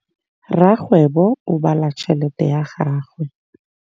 Rakgwêbô o bala tšheletê ya gagwe.